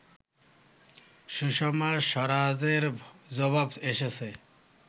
সুষমা স্বরাজের জবাব এসেছে